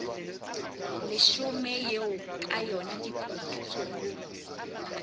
leshome eo ka yona dikutu